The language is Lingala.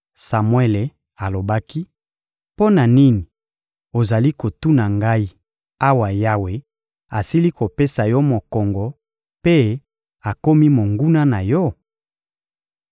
Samuele alobaki: — Mpo na nini ozali kotuna ngai, awa Yawe asili kopesa yo mokongo mpe akomi monguna na yo?